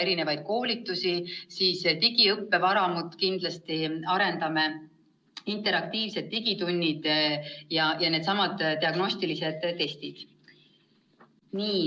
Kindlasti me arendame digiõppevaramut, on interaktiivsed digitunnid ja eelmärgitud diagnostilised testid.